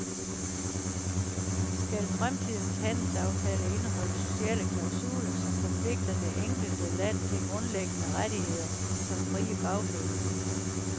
Skal fremtidens handelsaftaler indeholde sociale klausuler, som forpligter det enkelte land til grundlæggende rettigheder som frie fagforeninger?